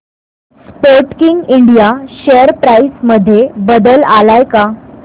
Sportking India share price मध्ये बदल आलाय का